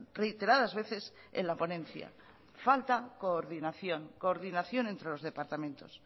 reiteradas veces en la ponencia falta coordinación coordinación entre los departamentos